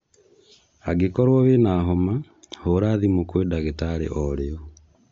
Angĩkorwo wĩna homa, hũra thĩmũ kwĩ ndagĩtarĩ orĩo.